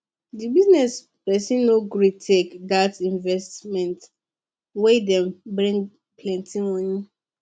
the business person no gree take that investment wey dey bring plenty money